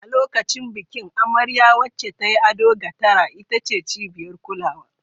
A lokacin bikin, amarya, wacce ta yi ado ga tara, ita ce cibiyar kulawa.